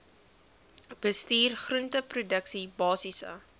bestuur groenteproduksie basiese